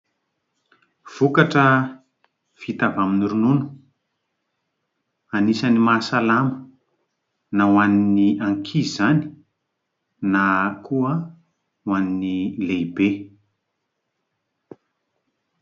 Vokatra vita avy amin'ny ronono, anisan'ny mahasalama na ho an'ny ankizy izany na koa ho an'ny lehibe.